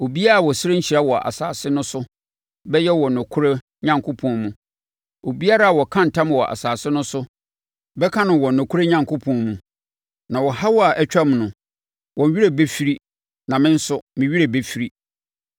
Obiara a ɔsrɛ nhyira wɔ asase no so bɛyɛ wɔ nokorɛ Onyankopɔn mu; obiara a ɔka ntam wɔ asase no so bɛka no wɔ nokorɛ Onyankopɔn mu. Na ɔhaw a atwam no, wɔn werɛ bɛfiri na me nso, me werɛ bɛfiri.